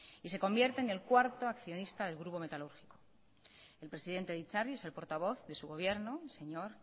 y se convierte en el cuarto accionista del grupo metalúrgico el presidente de itzarri es el portavoz de su gobierno el señor